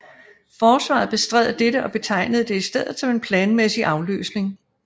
Forsvaret bestred dette og betegnede det i stedet som en planmæssig afløsning